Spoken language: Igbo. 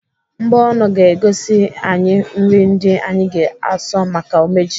Mbọnụ ga-egosi anyị nri ndị anyị ga-asọ maka umeji.